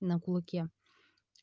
на кулаке